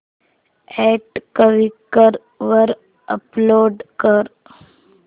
add Quikr वर upload कर